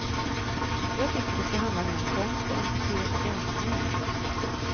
Jag tycker det ska handla mer om konst än hur gammal man är.